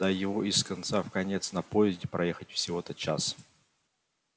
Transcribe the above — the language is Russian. да его из конца в конец на поезде проехать всего-то час